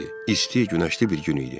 İstili, günəşli bir gün idi.